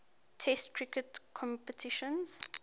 test cricket competitions